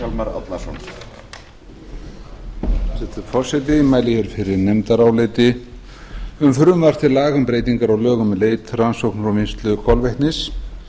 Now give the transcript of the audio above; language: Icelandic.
hæstvirtur forseti ég mæli hér fyrir nefndaráliti um frumvarp til laga um breytingu á lögum um leit rannsóknir og vinnslu kolvetnis